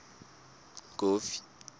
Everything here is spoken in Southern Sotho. kofi